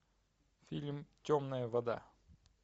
фильм темная вода